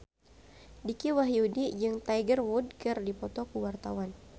Dicky Wahyudi jeung Tiger Wood keur dipoto ku wartawan